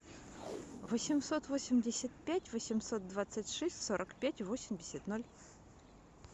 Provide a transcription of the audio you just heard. восемьсот восемьдесят пять восемьсот двадцать шесть сорок пять восемьдесят ноль